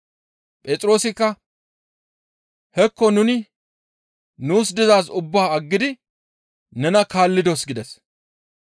Phexroosikka, «Hekko nuni nuus dizaaz ubbaa aggidi nena kaallidos» gides.